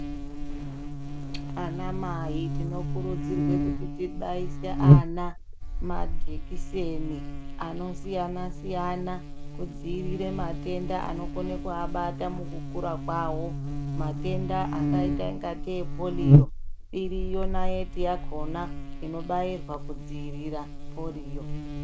Ana mai tinokurudzirwe kuti tibaise ana majekiseni anosisyana siyana kudziirira matenda anokono kuabata mukukura kwawo matenda akaita ingatei polio iriyo naiti yakhona inobairwa kudziirira polio.